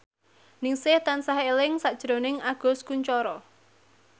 Ningsih tansah eling sakjroning Agus Kuncoro